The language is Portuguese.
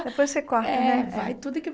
Depois você corta, né? É vai tudo que